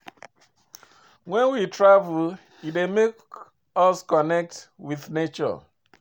When we travel e dey make us connect with nature